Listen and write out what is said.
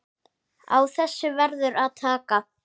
Á þessu verður að taka.